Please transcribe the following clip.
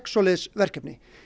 svoleiðis verkefni